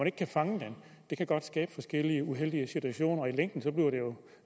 ikke kan fange den det kan godt skabe forskellige uheldige situationer og i længden bliver det jo